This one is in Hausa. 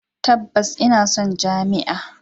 Tabbas ina son jami'a.